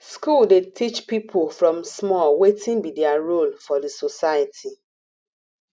school dey teach pipo from small wetin be their role for di society